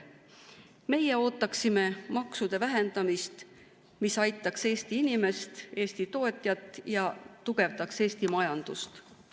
Meie ootaksime sellist maksude vähendamist, mis aitaks Eesti inimest ja Eesti tootjat ning tugevdaks Eesti majandust.